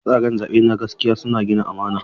Tsare-tsaren zaɓe na gaskiya suna gina amana.